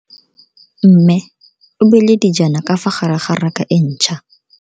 Mme o beile dijana ka fa gare ga raka e ntšha.